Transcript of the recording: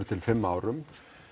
til fimm árum